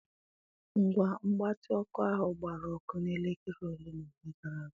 Ngwa mgbatị ọkụ ahụ gbara ọkụ na elekere ole na ole gara aga.